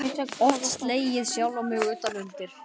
Oft slegið sjálfan mig utan undir.